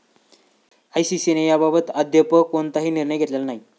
आयसीसीने याबाबत अद्याप कोणताही निर्णय घेतलेला नाही.